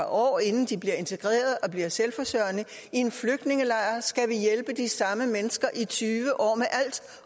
år inden de bliver integreret og bliver selvforsørgende i en flygtningelejr skal vi hjælpe de samme mennesker i tyve år